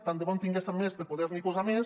tant de bo en tinguéssim més per poder n’hi posar més